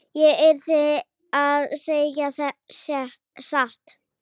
Ég yrði að segja satt.